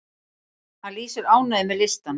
Hann lýsir ánægju með listann.